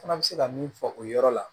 Fana bɛ se ka min fɔ o yɔrɔ la